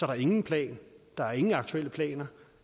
der ingen plan der er ingen aktuelle planer